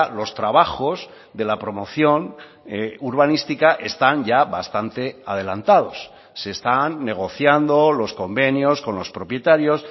los trabajos de la promoción urbanística están ya bastante adelantados se están negociando los convenios con los propietarios